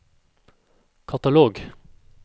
katalog